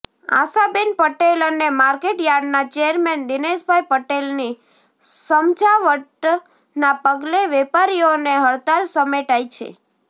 આશાબેન પટેલ અને માર્કેટયાર્ડના ચેરમેન દિનેશભાઇ પટેલની સમજાવટ ના પગલે વેપારીઓની હડતાળ સમેટાઇ છે